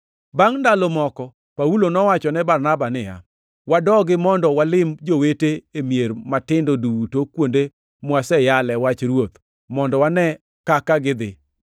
Bangʼ ndalo moko Paulo nowachone Barnaba niya, “Wadogi mondo walim jowete e mier matindo duto kuonde mwaseyale wach Ruoth, mondo wane kaka gidhi.”